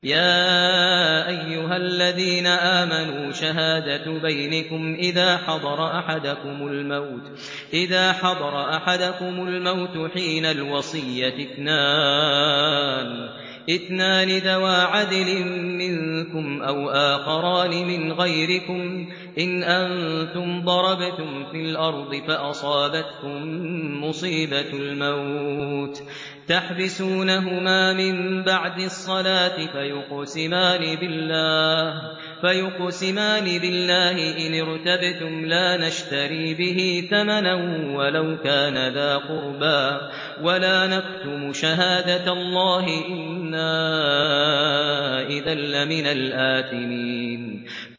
يَا أَيُّهَا الَّذِينَ آمَنُوا شَهَادَةُ بَيْنِكُمْ إِذَا حَضَرَ أَحَدَكُمُ الْمَوْتُ حِينَ الْوَصِيَّةِ اثْنَانِ ذَوَا عَدْلٍ مِّنكُمْ أَوْ آخَرَانِ مِنْ غَيْرِكُمْ إِنْ أَنتُمْ ضَرَبْتُمْ فِي الْأَرْضِ فَأَصَابَتْكُم مُّصِيبَةُ الْمَوْتِ ۚ تَحْبِسُونَهُمَا مِن بَعْدِ الصَّلَاةِ فَيُقْسِمَانِ بِاللَّهِ إِنِ ارْتَبْتُمْ لَا نَشْتَرِي بِهِ ثَمَنًا وَلَوْ كَانَ ذَا قُرْبَىٰ ۙ وَلَا نَكْتُمُ شَهَادَةَ اللَّهِ إِنَّا إِذًا لَّمِنَ الْآثِمِينَ